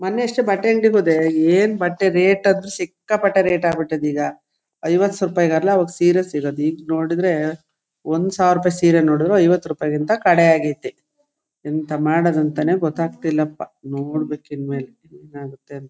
ಮೊನ್ನೆ ಅಷ್ಟೇ ಬಟ್ಟೆ ಅಂಗಡಿಗೆ ಹೋದೆ ಏನ್ ಬಟ್ಟೆ ರೇಟ್ ಅಂದ್ರೆ ಸಿಕ್ಕಾ ಪಟ್ಟೆ ರೇಟ್ ಆಗಿಬಿಟ್ಟಿದೆ ಈಗ ಸೀರೆ ಸಿಗೋದು ಈಗ ನೋಡಿದ್ರೆ ಒಂದ ಸಾವಿರ ರೂಪಾಯಿ ಸೀರೆ ನೋಡಿದ್ರು ಐವತ್ತು ರೂಪಾಯಿಗಿಂತ ಕಡೆ ಆಗ್ಯಾತ್ತಿ ಎಂತ ಮಾಡೋದು ಅಂತಾ ಗೊತ್ತಾಗತಾಯಿಲ್ಲಾಪಾ ನೋಡಬೇಕು ಇನ್ನ ಮೇಲೆ ಏನಾಗುತ್ತೆ ಅಂತ.